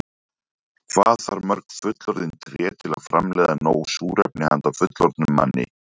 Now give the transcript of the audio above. Hvað þarf mörg fullorðin tré til að framleiða nóg súrefni handa fullorðnum manni?